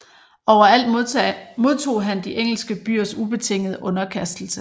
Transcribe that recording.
Overalt modtog han de engelske byers ubetingede underkastelse